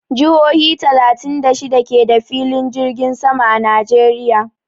Jihohi talatin da shida ke da filin jirgin sama a Najeriya.